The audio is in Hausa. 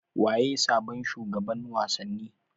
Waye sabon shugaban wasanni